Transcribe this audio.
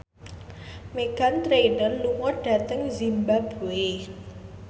Meghan Trainor lunga dhateng zimbabwe